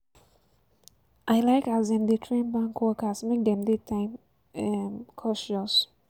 I like as dem dey train bank workers make dem dey time um conscious.